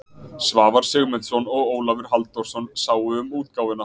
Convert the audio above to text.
Svavar Sigmundsson og Ólafur Halldórsson sáu um útgáfuna.